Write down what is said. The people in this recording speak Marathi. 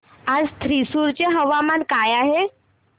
आज थ्रिसुर चे हवामान काय आहे